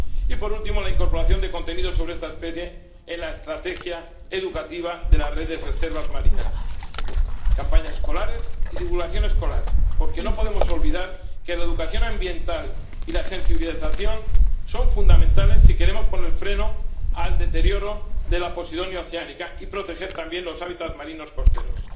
Y, por último, la incorporación de contenidos sobre esta especie en la estrategia educativa de las redes de reservas marinas, campañas escolares y divulgación escolar, porque no podemos olvidar que la educación ambiental y la sensibilización son fundamentales si queremos poner freno al deterioro de la Posidonia oceanica y proteger también los hábitats marinos costeros.